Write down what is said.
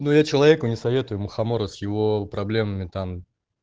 ну я человеку не советую мухомора с его проблемами там